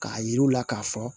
K'a yir'u la k'a fɔ